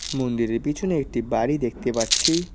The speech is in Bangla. মন্দিরের পিছনে একটি বাড়ি দেখতে পাচ্ছি।